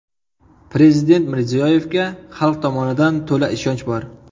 Prezident Mirziyoyevda xalq tomonidan to‘la ishonch bor.